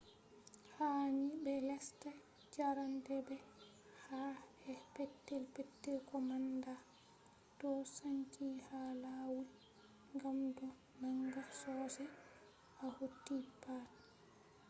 heels ha ni be lesta . jarende be ka`e petel-petel ko manda calcium chloride do sanki ha lawul gam do nanga sosai to hauti pat